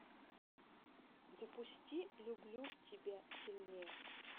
запусти люблю тебя сильнее